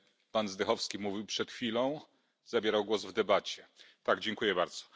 Pan Zdechovský mówił przed chwilą. Zabierał głos w debacie. Tak, dziękuję bardzo.